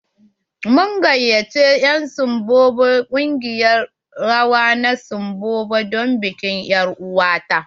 Mun gayyace en ƙungiyar rawa na sibombo don bikin er'uwa ta.